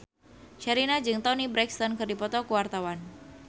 Sherina jeung Toni Brexton keur dipoto ku wartawan